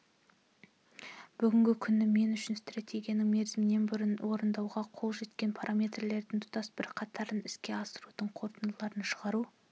бүгінгі күні мен үшін стратегиясының мерзімінен бұрын орындауға қол жеткен параметрлерінің тұтас бір қатарын іске асырудың қорытындыларын шығару